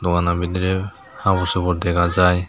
dogano bidrey huborsugor dega jai.